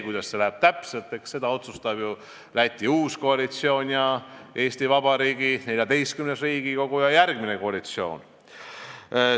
Kuidas täpselt läheb, seda otsustavad Läti uus koalitsioon ning Eesti Vabariigi XIV Riigikogu ja järgmine koalitsioon.